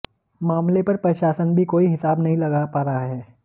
मामले पर प्रशासन भी कोई हिसाब नहीं लगा पा रहा है